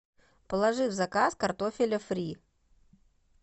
положи в заказ картофеля фри